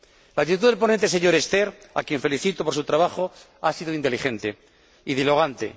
La actitud del ponente, señor Sterckx, a quien felicito por su trabajo, ha sido inteligente y dialogante.